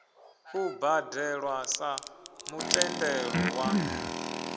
u badelwa sa mutendelo wa